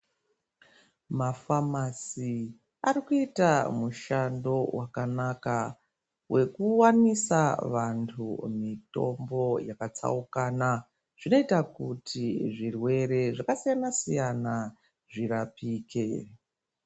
Mafamasi arikuyita mushando wakanaka wekuwanisa vantu mitombo yakatsawukana. Zvinoyita kuti zvirwere zvakasiyana siyana zvirapike.